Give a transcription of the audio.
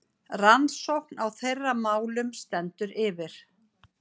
Rannsókn á þeirra málum stendur yfir.